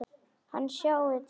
Hann sjái til þess.